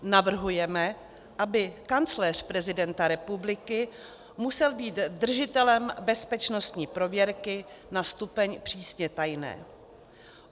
Navrhujeme, aby kancléř prezidenta republiky musel být držitelem bezpečnostní prověrky na stupeň přísně tajné.